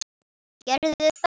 Ha, gerðu það.